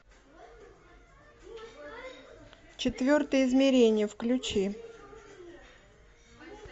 четвертое измерение включи